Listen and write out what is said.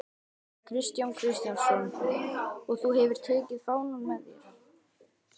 Kristján Kristjánsson: Og þú hefur tekið fánann með þér?